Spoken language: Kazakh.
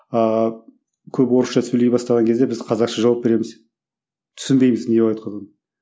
ааа көп орысша сөйлей бастаған кезде біз қазақша жауап береміз түсінбейміз не айтқанын